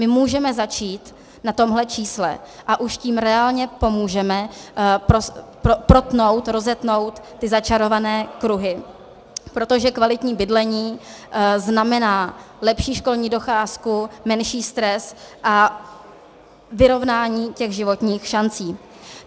My můžeme začít na tomhle čísle a už tím reálně pomůžeme protnout, rozetnout ty začarované kruhy, protože kvalitní bydlení znamená lepší školní docházku, menší stres a vyrovnání těch životních šancí.